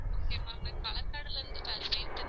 Okay ma'am நா கலகாடுல இருந்து பேசுறேன்